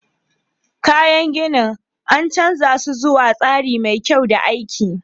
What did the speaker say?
Kayan ginin, an canza su zuwa tsari mai kyau da aiki.